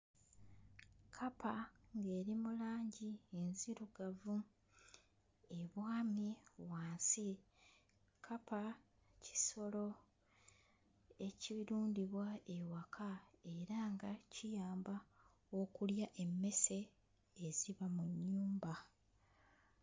Kkapa ng'eri mu langi enzirugavu ebwamye wansi. Kkapa kisolo ekirundibwa ewaka era nga kiyamba okulya emmese eziba mu nnyumba.